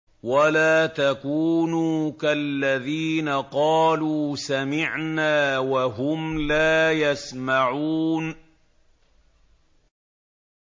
وَلَا تَكُونُوا كَالَّذِينَ قَالُوا سَمِعْنَا وَهُمْ لَا يَسْمَعُونَ